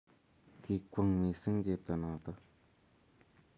Kikwong' mising' chepto noto